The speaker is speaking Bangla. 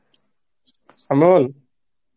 সামিউল